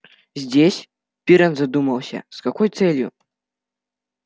здесь пиренн задумался с какой целью